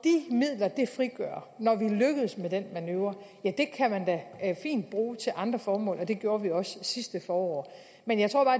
midler det frigør når vi lykkes med den manøvre kan man fint bruge til andre formål og det gjorde vi også sidste forår men jeg tror bare